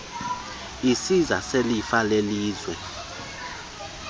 isiza selifa lelizwe